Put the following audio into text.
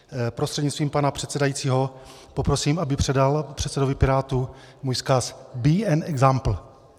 Prostřednictvím pana předsedajícího poprosím, aby předal předsedovi Pirátů můj vzkaz: Be an example.